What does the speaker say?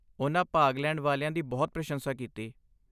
ਉਨ੍ਹਾਂ ਭਾਗ ਲੈਣ ਵਾਲਿਆਂ ਦੀ ਬਹੁਤ ਪ੍ਰਸ਼ੰਸਾ ਕੀਤੀ।